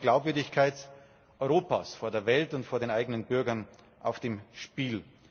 Es steht auch die Glaubwürdigkeit Europas vor der Welt und vor den eigenen Bürgern auf dem Spiel.